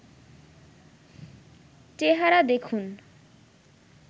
চেহারা দেখুন